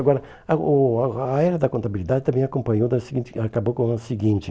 Agora, o o a era da contabilidade também acompanhou da seguinte, acabou com o seguinte.